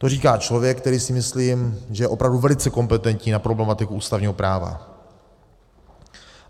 To říká člověk, který, si myslím, že je opravdu velice kompetentní na problematiku ústavního práva.